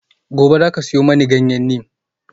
Gobe ​​zaka siyo mani ganyen neem?